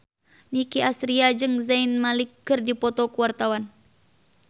Nicky Astria jeung Zayn Malik keur dipoto ku wartawan